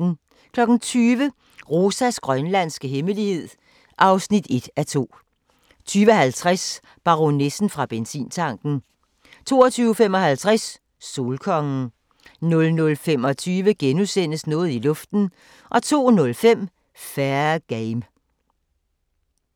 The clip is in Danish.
20:00: Rosas grønlandske hemmelighed (1:2) 20:50: Baronessen fra benzintanken 22:55: Solkongen 00:25: Noget i luften * 02:05: Fair Game